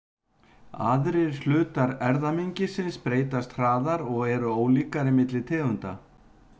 Aðrir hlutar erfðamengisins breytast hraðar og eru ólíkari milli tegunda.